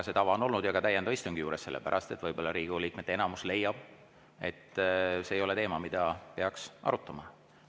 See tava on olnud, ka täiendava istungi puhul, seepärast et võib-olla Riigikogu liikmete enamus leiab, et see ei ole teema, mida peaks arutama.